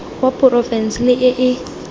wa porofense le e e